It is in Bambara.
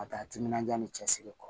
Ka taa timinanja ni cɛsiri kɔ